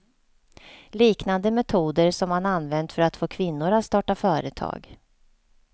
Liknande metoder som man använt för att få kvinnor att starta företag.